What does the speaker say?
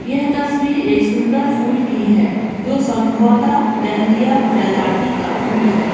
यह तस्वीर एक सुंदर फूल की है जो संभवतः डहलिया प्रजाति का फुल है।